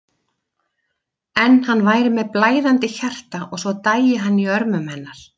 En hann væri með blæðandi hjarta og svo dæi hann í örmum hennar.